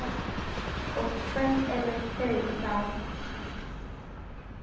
Og hver eru þau þá?